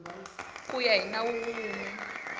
ku ya hi nawu wun